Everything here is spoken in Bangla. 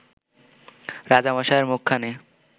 রাজামশায়ের মুখখানি